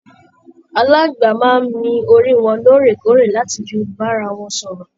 Aláàngbá máa n mí orí wọn lóòrèkóòrè láti fí bára wọn sọ̀rọ̀.